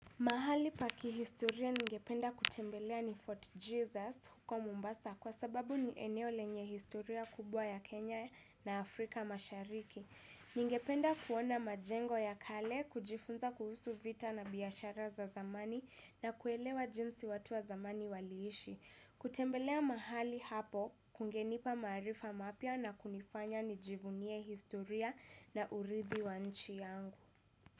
Mahali pa kihistoria ningependa kutembelea ni Fort Jesus huko Mombasa kwa sababu ni eneo lenye historia kubwa ya Kenya na Afrika mashariki. Ningependa kuona majengo ya kale, kujifunza kuhusu vita na biashara za zamani na kuelewa jinsi watu wa zamani waliishi. Kutembelea mahali hapo, kungenipa maarifa mapya na kunifanya nijivunie historia na urithi wa nchi yangu.